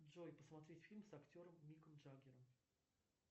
джой посмотреть фильм с актером миком джагером